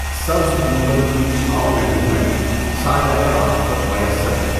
سبز گنبد کی چھاؤں میں ہوں میں، سایۂ عاطفت میسّر ہے۔